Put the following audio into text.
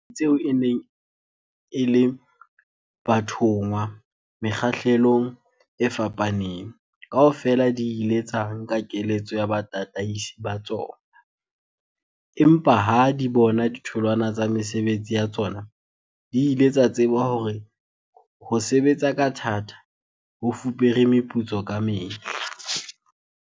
Dihwai tseo e neng e le bathonngwa mekgahlelong e fapaneng, kaofela di ile tsa nka keletso ya batataisi ba tsona, empa ha di bona ditholwana tsa mesebetsi ya tsona di ile tsa tseba hore ho sebetsa ka thata ho fupere meputso ka mehla.